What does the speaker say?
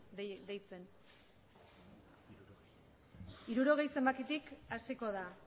deitzen hirurogei zenbakitik hasiko da